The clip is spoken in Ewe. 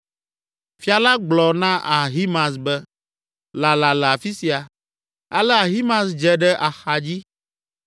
Fia la gblɔ na Ahimaaz be, “Lala le afi sia” Ale Ahimaaz dze ɖe axadzi.